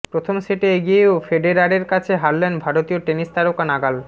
প্রথম সেটে এগিয়েও ফেডেরারের কাছে হারলেন ভারতীয় টেনিস তারকা নাগাল